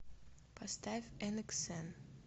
поставь энэксэн